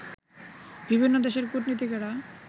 বিভিন্ন দেশের কূটনীতিকেরা